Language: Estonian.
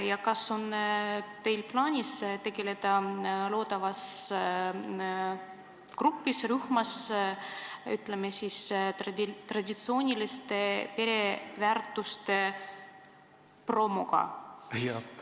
Ja kas on teil plaanis tegeleda selles loodavas grupis või rühmas traditsiooniliste pereväärtuste promoga?